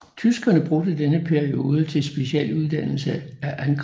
Tyskerne brugte denne periode til specialuddannelse af angrebsstyrkerne